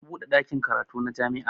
An buɗe ɗakin karatu na jami'a